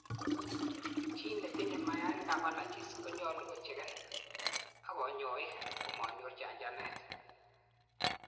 chii netinyei mayainik ab allergies konyalu kocheken ak konyoik komanyor chanchanet